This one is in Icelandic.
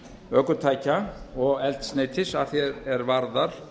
ökutækja og eldsneytis að því er varðar